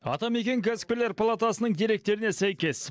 атамекен кәсіпкерлер палатасының деректеріне сәйкес